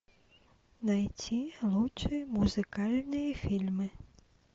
найти лучшие музыкальные фильмы